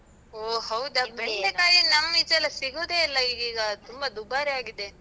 ಓ ಹೌದ? ಬೆಂಡೆಕಾಯಲ್ಲ ನಮ್ಮಿಚೆ ಎಲ್ಲ ಸಿಗುದೇ ಇಲ್ಲ ಈಗೀಗ, ತುಂಬ ದುಬಾರಿ ಆಗಿದೆ.